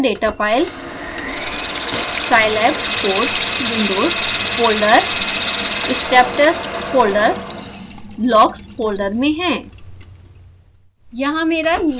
मेरी मशीन पर data file scilab_codes_windows folder >> step test folder >> logs folder में है